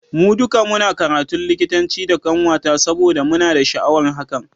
Mu duka muna karatun likitanci da kanwata saboda muna da sha'awar hakan.